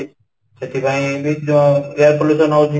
ସେଥିପାଇଁ ବି ଜ air pollution ହଉଛି